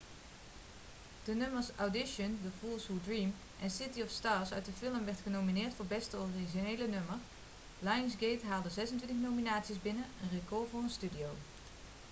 de nummers audition the fools who dream en city of stars uit de film werden genomineerd voor beste originele nummer. lionsgate haalde 26 nominaties binnen een record voor een studio